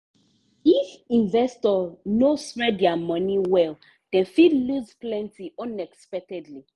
if investor no spread their money well dem fit lose plenty unexpectedly.